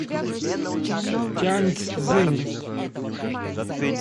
тяньцзинь